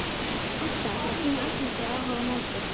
Edda til að sýna Agnesi áhuga á móti.